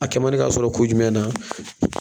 A kɛ mandi k'a sɔrɔ kun jumɛn na